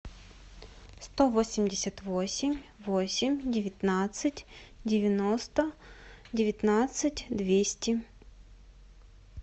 сто восемьдесят восемь восемь девятнадцать девяносто девятнадцать двести